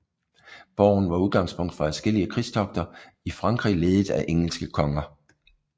Borgen var udgangspunkt for adskillige krigstogter i Frankrig ledet af engelske konger